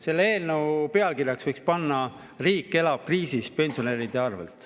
Selle eelnõu pealkirjaks võiks panna "Riik elab kriisis pensionäride arvel".